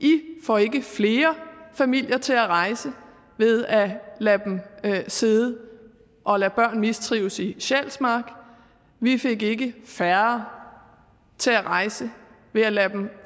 i får ikke flere familier til at rejse ved at lade dem sidde og lade børn mistrives i sjælsmark vi fik ikke færre til at rejse ved at lade dem